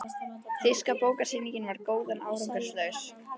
Þýska bókasýningin var góð, en árangurslaus.